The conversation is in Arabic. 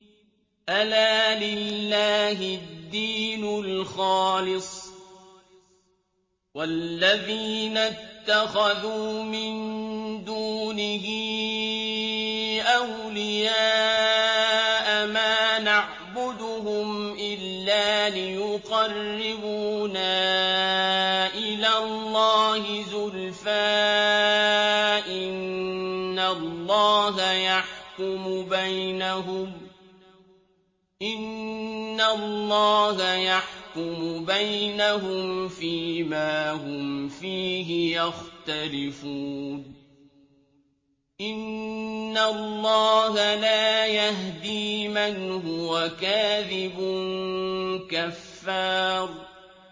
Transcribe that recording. أَلَا لِلَّهِ الدِّينُ الْخَالِصُ ۚ وَالَّذِينَ اتَّخَذُوا مِن دُونِهِ أَوْلِيَاءَ مَا نَعْبُدُهُمْ إِلَّا لِيُقَرِّبُونَا إِلَى اللَّهِ زُلْفَىٰ إِنَّ اللَّهَ يَحْكُمُ بَيْنَهُمْ فِي مَا هُمْ فِيهِ يَخْتَلِفُونَ ۗ إِنَّ اللَّهَ لَا يَهْدِي مَنْ هُوَ كَاذِبٌ كَفَّارٌ